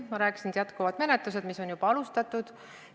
Ma rääkisin, et jätkuvad menetlused, mis on juba alustatud.